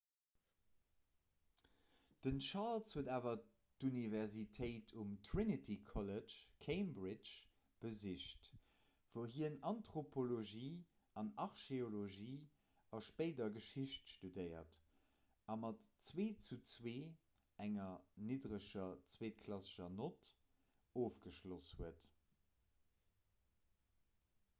den charles huet awer d'universitéit um trinity college cambridge besicht wou hien anthropologie an archeologie a spéider geschicht studéiert a mat 2:2 enger niddereger zweetklassescher nott ofgeschloss huet